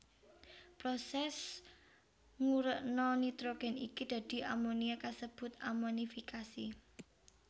Prosès ngurékna nitrogén iki dadi amonia kasebut amonifikasi